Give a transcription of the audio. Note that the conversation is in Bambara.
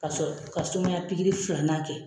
ka sɔrɔ ka sumaya filanan kɛ.